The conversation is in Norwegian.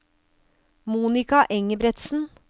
Monika Engebretsen